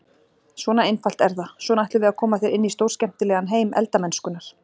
Svona einfalt er það, svona ætlum við að koma þér inn í stórskemmtilegan heim elda-mennskunnar!